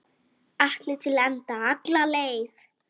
Allt til enda, alla leið.